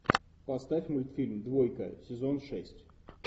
поставь мультфильм двойка сезон шесть